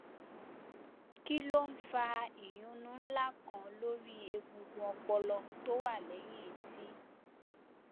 kí ló ń fa ìyúnnú ńlá kan lórí egungun ọpọlọ tó wà lẹ́yìn etí